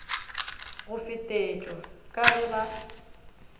go fetetšwa ka ge ba